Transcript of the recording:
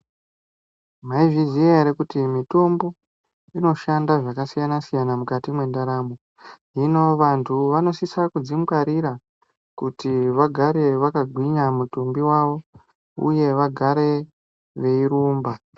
Maizviziya ere kuti mitombo inoshanda zvakasiyana siyana mukati mwendaramo hino vantu vanosise kudzingwarira kuti vagare vakagwinya mitumbi yavo uye vagare veyirumba.